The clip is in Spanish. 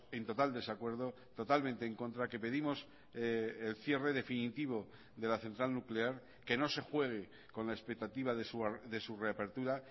en total desacuerdo totalmente en contra que pedimos el cierre definitivo de la central nuclear que no se juegue con la expectativa de su reapertura